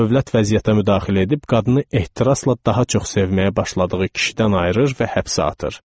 Dövlət vəziyyətə müdaxilə edib qadını ehtirasla daha çox sevməyə başladığı kişidən ayırır və həbsə atır.